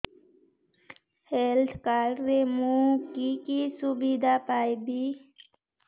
health card ରେ ମୁଁ କି କି ସୁବିଧା ପାଇବି